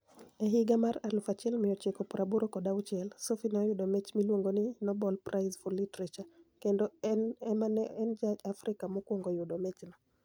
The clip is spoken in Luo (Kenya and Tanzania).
E higa mar 1986, Sophy ni e oyudo mich miluonigo nii nobel Prize for Literature, kenido eni ema ni e eni Ja - Afrika mokwonigo yudo michno.